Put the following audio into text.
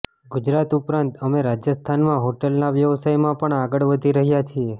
ગુજરાત ઉપરાંત અમે રાજસ્થાનમાં હોટલના વ્યવસાયમાં પણ આગળ વધી રહ્યા છીએ